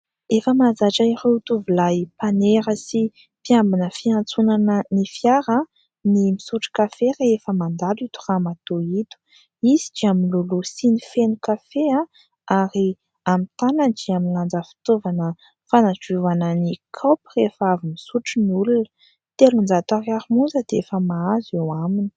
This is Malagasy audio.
Efa mahazatra ireo tovolahy mpanera sy mpiambina fiantsonana ny fiara ny misotro kafe rehefa mandalo ito ramatoa ito. Izy dia miloloha siny feno kafe, ary amin'ny tanany dia milanja fitaovana fanadiovana ny kaopy rehefa avy misotro ny olona. Telonjato ariary monja dia efa mahazo eo aminy.